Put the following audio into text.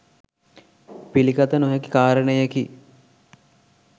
පිළිගත නොහැකි කාරණයකි.